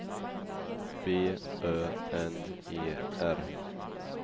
B Ö N E R